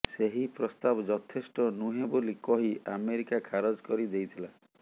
ସେହି ପ୍ରସ୍ତାବ ଯଥେଷ୍ଟ ନୁହେଁ ବୋଲି କହି ଆମେରିକା ଖାରଜ କରିଦେଇଥିଲା